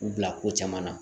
U bila ko caman na